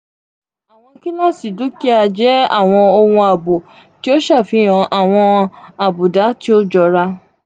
awọn kilasi dukia jẹ awọn ohun aabo ti o ṣafihan awọn abuda ti o jọra.